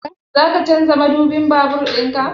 Zaka canza madubin babur ɗinka?